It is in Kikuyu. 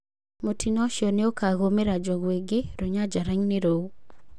Mũtino ũcio nĩũkagũmĩra njogu ingĩ rũnyanjarainĩ rũu.